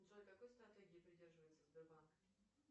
джой какой стратегии придерживается сбербанк